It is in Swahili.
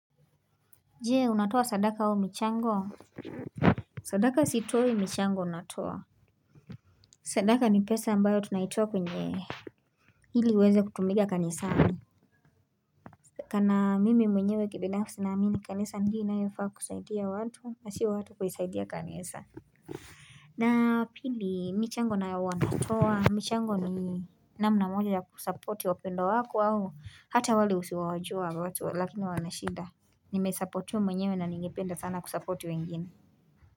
Je, unatoa sadaka au michango? Sadaka sitoi michango natoa sadaka ni pesa ambayo tunaitoa kwenye ili iweze kutumika kanisani Kana mimi mwenyewe kibinafsi naamini kanisa ndiyo inayofaa kusaidia watu na sio watu kuisaidia kanisa na pili michango nayo huwa natoa, michango ni namna moja kusuppor wapendwa wako au hata wale usio wajua watu lakini wana shida. Nimesupportiwa mwenyewe na ningependa sana kusupport wengine.